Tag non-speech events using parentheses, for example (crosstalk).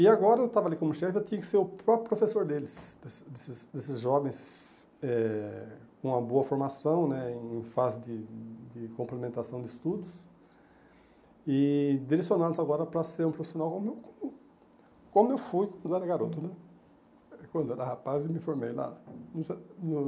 E agora, eu estava ali como chefe, eu tinha que ser o próprio professor deles, desses desses desses jovens eh com uma boa formação né, em fase de de complementação de estudos, e direcionados agora para ser um profissional como eu (unintelligible) como eu fui quando eu era garoto né, quando eu era rapaz e me formei lá no (unintelligible) no.